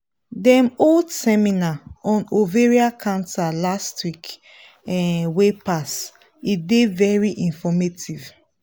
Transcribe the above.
dem hold seminar on ovarian cancer last week um wey pass e dey very informative